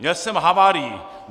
Měl jsem havárii.